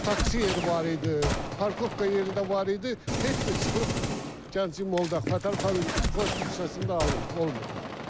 Taksi yeri var idi, parkovka yeri də var idi, heç bir sıxlıq Gənclik Molda Fətəli xan Xoyski küçəsində alınmırdı.